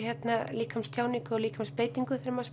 líkamstjáningu og líkamsbeitinguna þegar maður